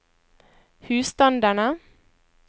husstandene